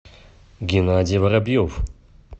геннадий воробьев